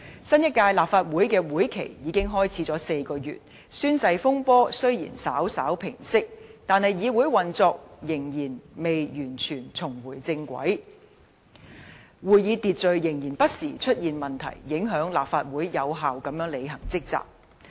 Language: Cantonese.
新一屆立法會的會期已開始了4個月，宣誓風波雖然稍稍平息，但議會運作仍然未完全重回正軌，會議秩序仍然不時出現問題，影響立法會有效地履行職責。